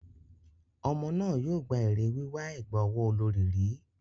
Ọmọ náà yóò gba èrè wíwà ẹ̀gbà ọwọ́ olorì rí.